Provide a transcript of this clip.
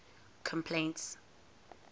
complaints